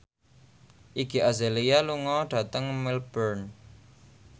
Iggy Azalea lunga dhateng Melbourne